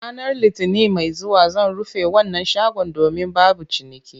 Ranar Litinin mai zuwa zan rufe wannan shagon domin babu ciniki